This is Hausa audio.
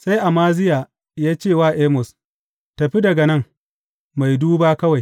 Sai Amaziya ya ce wa Amos, Tafi daga nan, mai duba kawai!